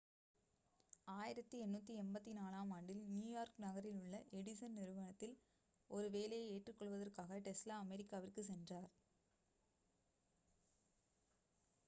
1884 ஆம் ஆண்டில் நியூயார்க் நகரில் உள்ள எடிசன் நிறுவனத்தில் ஒரு வேலையை ஏற்றுக்கொள்வதற்காக டெஸ்லா அமெரிக்காவிற்கு சென்றார்